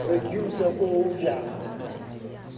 Legumes waa kuwa ugu fiican.